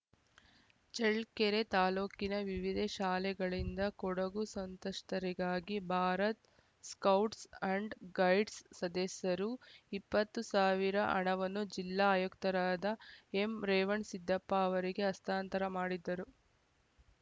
ಚಳ್ಳಕೆರೆ ತಾಲೂಕಿನ ವಿವಿದೇ ಶಾಲೆಗಳಿಂದ ಕೊಡಗು ಸಂಸ್ಥತರಿಗಾಗಿ ಭಾರತ್‌ ಸ್ಕೌಟ್ಸ್‌ ಅಂಡ್‌ ಗೈಡ್ಸ್‌ ಸದಸ್ಯರು ಇಪ್ಪತ್ತು ಸಾವಿರ ಹಣವನ್ನು ಜಿಲ್ಲಾ ಆಯುಕ್ತರಾದ ಎಂರೇವಣ್ ಸಿದ್ದಪ್ಪ ಅವರಿಗೆ ಹಸ್ತಾಂತರ ಮಾಡಿದರು